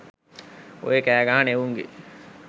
ඔය කෑ ගහන එවුන්ගෙ